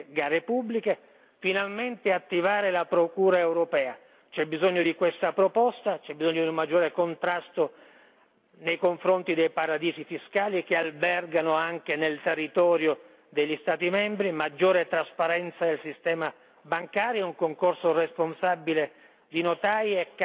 Finalmente attivare la procura europea, c'è bisogno di questa proposta, c'è bisogno di un maggiore contrasto nei confronti dei paradisi fiscali che albergano anche nel territorio degli Stati membri, maggiore trasparenza del sistema bancario e un concorso responsabile di notai e camere di commercio.